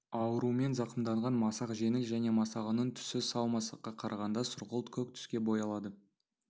аурумен зақымданған масақ жеңіл және масағының түсі сау масаққа қарағанда сұрғылт көк түске боялады